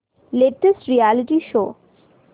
latest reality show